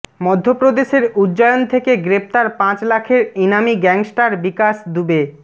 মধ্যপ্রদেশের উজ্জয়ন থেকে গ্রেফতার পাঁচ লাখের ইনামি গ্যাংস্টার বিকাশ দুবে